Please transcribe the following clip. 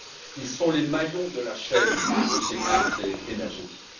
Ils sont les maillons de la chaîne de sécurité énergétique.